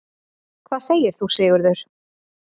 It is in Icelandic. Hvað segir þú, Sigurður?